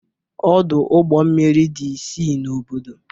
Ọdụ ụgbọ mmiri dị isii n'obodo